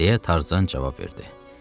Deyə Tarzan cavab verdi.